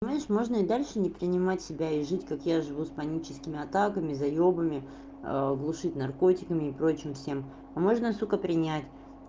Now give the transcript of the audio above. понимаешь можно и дальше не принимать себя и жить как я живу с паническими атаками заёбами глушить наркотиками и прочим всем а можно сука принять